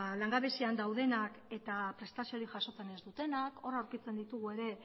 langabezian daudenak eta prestaziorik jasotzen ez dutenak hor aurkitzen ditugu ere